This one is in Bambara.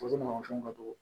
ka dɔgɔn